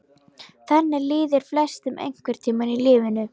Þannig líður flestum einhvern tíma í lífinu.